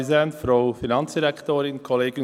– Für die Fraktion.